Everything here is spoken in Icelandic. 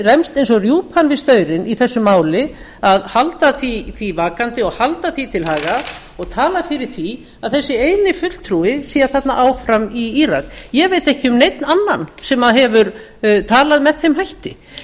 rembst eins og rjúpan við staurinn í þessu máli að halda því vakandi og halda því til haga og talað fyrir því að þessi eini fulltrúi sé þarna áfram í írak ég veit ekki um neinn annan sem hefur talað með þeim